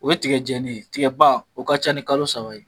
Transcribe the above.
O ye tigɛ jɛnin ye, tigaba o ka ca ni kalo saba ye.